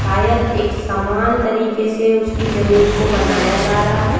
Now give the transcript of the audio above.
शायद एक समान तरीके से उसकी जमीन को बनाया जा रहा है।